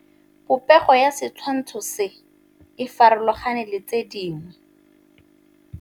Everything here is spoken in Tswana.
Popêgo ya setshwantshô se, e farologane le tse dingwe.